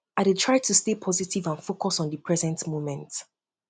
i dey try to stay positive and focus on di present moment